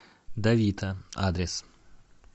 давита адрес